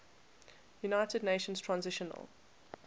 united nations transitional